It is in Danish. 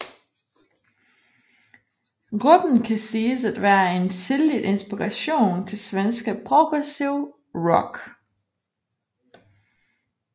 Gruppen kan siges at være en tidligt inspiration til svenske progressiv rock